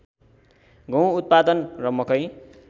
गुहँ उत्पादन र मकै